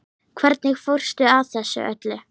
Hvernig fórstu að þessu öllu?